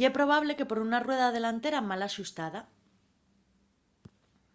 ye probable que por una rueda delantera mal axustada